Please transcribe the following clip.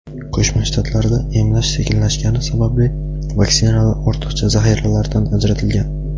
Qo‘shma Shtatlarda emlash sekinlashgani sababli vaksinalar ortiqcha zaxiralardan ajratilgan.